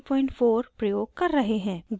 grids क्या होते हैं